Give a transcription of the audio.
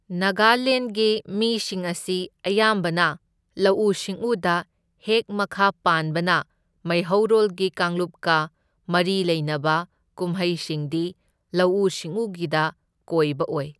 ꯅꯒꯥꯂꯦꯟꯗꯒꯤ ꯃꯤꯁꯤꯡ ꯑꯁꯤ ꯑꯌꯥꯝꯕꯅ ꯂꯧꯎ ꯁꯤꯡꯎꯗ ꯍꯦꯛ ꯃꯈꯥ ꯄꯥꯟꯕꯅ ꯃꯩꯍꯧꯔꯣꯜꯒꯤ ꯀꯥꯡꯂꯨꯞꯀ ꯃꯔꯤ ꯂꯩꯅꯕ ꯀꯨꯝꯍꯩꯁꯤꯡꯗꯤ ꯂꯧꯎ ꯁꯤꯡꯎꯒꯤꯗ ꯀꯣꯏꯕ ꯑꯣꯢ꯫